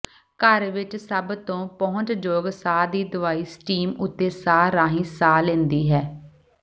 ਘਰ ਵਿੱਚ ਸਭ ਤੋਂ ਪਹੁੰਚਯੋਗ ਸਾਹ ਦੀ ਦਵਾਈ ਸਟੀਮ ਉੱਤੇ ਸਾਹ ਰਾਹੀਂ ਸਾਹ ਲੈਂਦੀ ਹੈ